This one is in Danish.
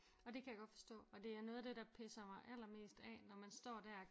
Og det kan jeg godt forstå og det er noget af det der pisser mig allermest af når man står der og